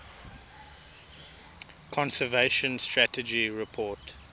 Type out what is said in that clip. conservation strategy report